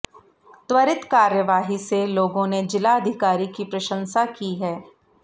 त्वरित कार्यवाही से लोगों ने जिलाधिकारी की प्रशंसा की है